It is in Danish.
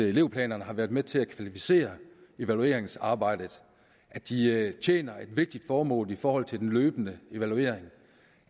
elevplanerne har været med til at kvalificere evalueringsarbejdet at de tjener et vigtigt formål i forhold til den løbende evaluering